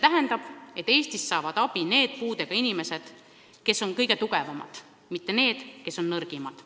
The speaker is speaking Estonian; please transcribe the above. Eestis saavad abi need puudega inimesed, kes on kõige tugevamad, mitte need, kes on kõige nõrgemad.